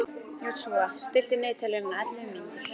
Joshua, stilltu niðurteljara á ellefu mínútur.